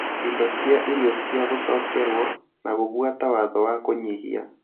indo cia irio cia gũcokerwo, na gũbuata watho wa kũnyihia